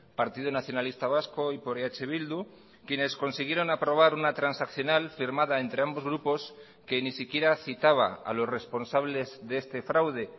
partido nacionalista vasco y por eh bildu quienes consiguieron aprobar una transaccional firmada entre ambos grupos que ni siquiera citaba a los responsables de este fraude